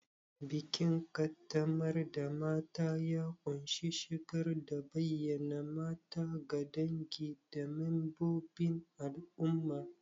Bikin qaddamar da mata ya ƙunshi shigar da bayyana mata ga dangi da membobin al'umma.